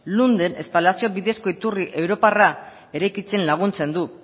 lunden espalazio bidezko iturri europarra eraikitzen laguntzen du